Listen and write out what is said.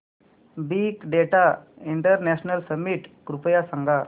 big data international summit कृपया सांगा